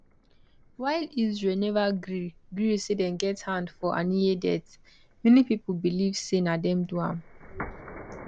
while israel neva gree gree say dem get hand for haniyeh death many pipo believe say na dem do am